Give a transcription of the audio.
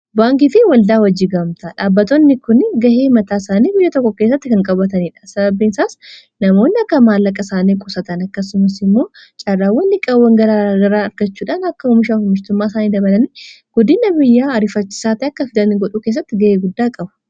Baankiitii waldaa wajjii gaamta dhaabbatootni kun ga'ee mataa isaanii biyya tokko keessatti kan qabataniidha. Sababbiisaas namoonni akka maallaqa isaanii qusatan akkasumas immoo caarraan wan liqaawwan gaagaraa argachuudhaan akka umishaa ummistummaa isaanii dabalani guddina biyyaa arifachisaatii akka fidanii godhuu keessatti ga'ee guddaa qabu.